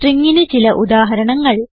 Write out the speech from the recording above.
stringന് ചില ഉദാഹരണങ്ങൾ